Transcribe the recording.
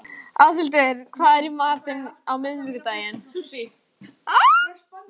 Áshildur, hvað er í matinn á miðvikudaginn?